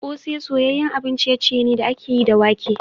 Kose soyayyen abun ciye-ciye ne da aka yi da wake.